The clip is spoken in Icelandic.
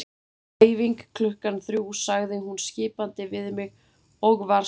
Æfing klukkan þrjú sagði hún skipandi við mig og var svo farin.